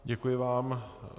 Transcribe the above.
Děkuji vám.